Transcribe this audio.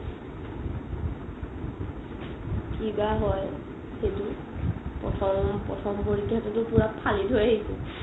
কিবা হয় সেইটো প্ৰথম প্ৰথম পৰীক্ষাটো টো একদম ফালি থই আহিছো